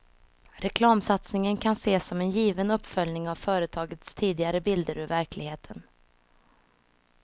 Reklamsatsningen kan ses som en given uppföljning av företagets tidigare bilder ur verkligheten.